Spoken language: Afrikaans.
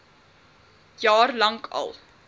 jaar lank al